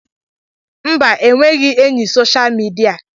Mba, enweghị enyị soshaal midia.